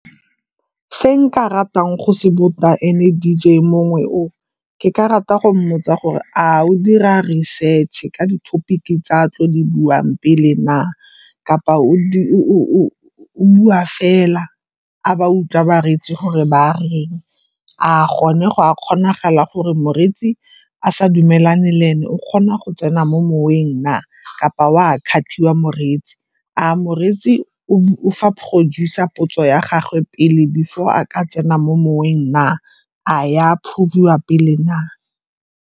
Se nka ratang go se botsa ene D_J mongwe o, ke ka rata go mmotsa gore a o dira research ka di-topic-ke tse a tlo di buang pele na, kapa o bua fela, a ba a utlwa bareetsi gore ba a reng? A gone go a kgonagala gore moreetsi a sa dumelane le ene o kgona go tsena mo moweng na, kapa o a kgathiwa moreetsi? A moreetsi o fa producer potso ya gagwe pele before a ka tsena mo moweng na? A e a approve-iwa pele na?